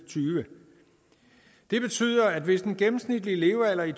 og tyve det betyder at hvis den gennemsnitlige levealder i